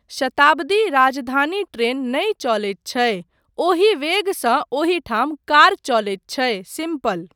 शताब्दी, Rajdhani train नहि चलैत छै, ओहि वेगसँ ओहिठाम कार चलैत छै, सिम्पल।